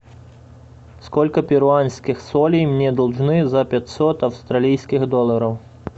сколько перуанских солей мне должны за пятьсот австралийских долларов